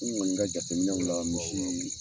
N kɔni ka jateminew la maaw ye.